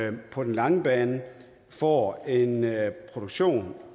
at vi på den lange bane får en produktion